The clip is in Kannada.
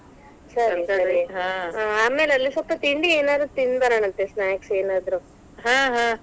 ಹಾ ಹಾ.